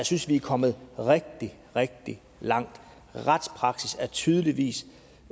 synes vi er kommet rigtig rigtig langt retspraksis er tydeligvis